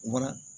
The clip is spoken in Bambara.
Wala